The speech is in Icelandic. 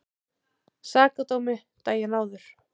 Sakadómi daginn áður.